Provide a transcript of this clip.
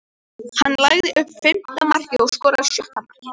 Hann lagði upp fimmta markið og skoraði sjötta markið.